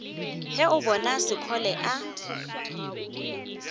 ge o bona sekgole a